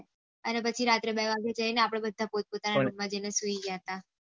અને પછી રાત્રે બે વાગે જયીયે આપળે બધા પોત પોત ના રૂમ માં જયીયે ને સુઈ ગયા હતા